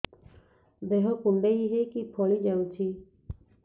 ଦେହ କୁଣ୍ଡେଇ ହେଇକି ଫଳି ଯାଉଛି